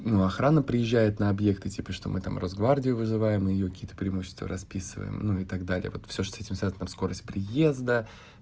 ну охрана приезжает на объекты типа что мы там росгвардию вызываемые какие-то преимущества расписываем ну и так далее вот все этим сказано скорость приезда